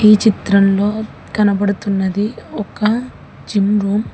ఈ చిత్రంలో కనబడుతున్నది ఒక జిము రూమ్ .